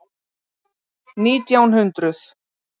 Nítján hundruð